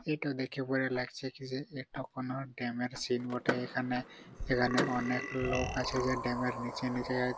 এইটা দেখে পরে লাগছে কি যে এইটা কোনো দামের সিন বটে | এইখানে এইকাহেনে অনেক লোক আছে যে দামের নিচে নিচে--